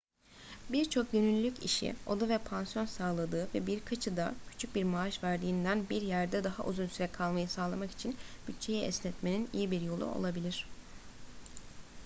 birçok gönüllülük işi oda ve pansiyon sağladığı ve birkaçı da küçük bir maaş verdiğinden bir yerde daha uzun süre kalmayı sağlamak için bütçeyi esnetmenin iyi bir yolu olabilir